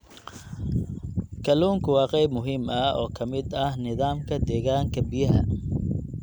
Kalluunku waa qayb muhiim ah oo ka mid ah nidaamka deegaanka biyaha.